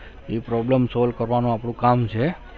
એ problem solve કરવાનું આપણું કામ છે.